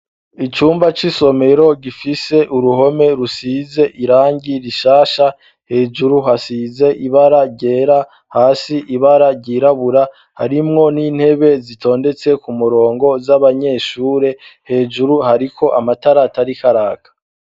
Iyumba c'isomero gifise uruhome rusize irangi rishasha hejuru hasize ibara ryera. hasi ibara ryirabura harimwo n'intebe zitondetse ku murongo z'abanyeshure hejuru hariko amatara atariko araka.